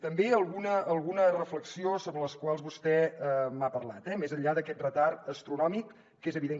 també alguna reflexió sobre el que vostè m’ha parlat eh més enllà d’aquest retard astronòmic que és evident